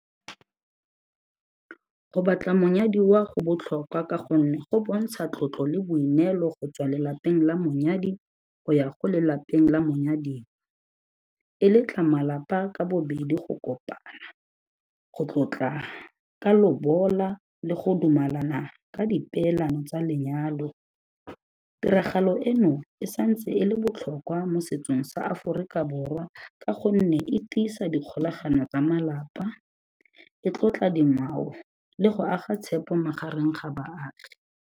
Go batla monyadiwa go botlhokwa ka gonne go bontsha tlotlo le boineelo go tswa lelapeng la monyadi go ya go lelapeng la monyadiwa. E letla malapa ka bobedi go kopana, go ka lobola le go dumalana ka dipeelano tsa lenyalo. Tiragalo eno, e sa ntse e le botlhokwa mo setsong sa Aforika Borwa ka gonne e tiisa dikgolagano tsa malapa, e tlotla dingwao, le go aga tshepo magareng ga baagi.